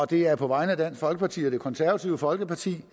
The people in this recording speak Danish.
det er på vegne af dansk folkeparti og det konservative folkeparti